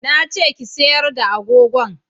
Na ce ki sayar da agogon!